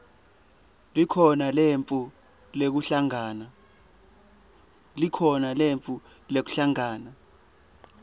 likhono letfu lekuhlangana